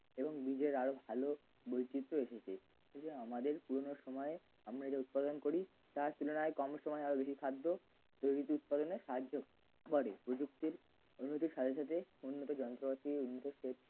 এবং বীজের আরো ভালো বৈচিত্র্য এসেছে এই যে আমাদের পুরোনো সময়ে আমরা যে উৎপন্ন করি তার তুলনায় কম সময়ে বেশি খাদ্য প্রভৃতি উৎপাদনে সাহায্য করে প্রযুক্তির উন্নতির সাথে সাথে উন্নতির যন্ত্রপাতির উন্নত সেচ